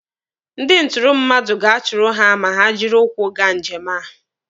Ndị ntụrụ mmadụ ga-atụrụ ha ma ha jiri ụkwụ gaa njem a